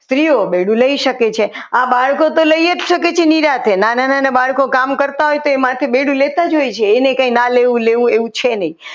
સ્ત્રીઓ બેડું લઈ શકે છે આ બાળકો તો લઈ જ શકે નિરાંતે નાના નાના બાળકો કામ કરતા હોય તે માથે બેડું લેતા હોય છે એને કંઈ લેવું ના લેવું એવું છે નહીં.